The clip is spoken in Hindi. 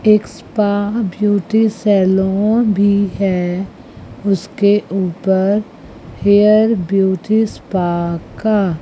एक स्पा ब्यूटी सैलून भी है उसके ऊपर हेयर ब्यूटी स्पा का।